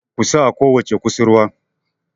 ku sa a kowace kusurwa!